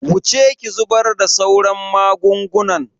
Wuce ki zubar da sauran magungunan.